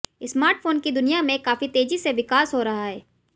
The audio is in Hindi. स्मार्टफोन की दुनिया में काफी तेजी से विकास हो रहा है